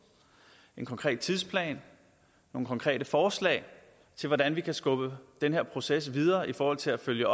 en konkret tidsplan nogle konkrete forslag til hvordan vi kan skubbe den her proces videre i forhold til at følge